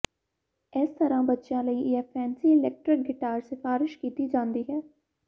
ਇਸ ਤਰ੍ਹਾਂ ਬੱਚਿਆਂ ਲਈ ਇਹ ਫੈਨਸੀ ਇਲੈਕਟ੍ਰਿਕ ਗਿਟਾਰ ਸਿਫਾਰਸ਼ ਕੀਤੀ ਜਾਂਦੀ ਹੈ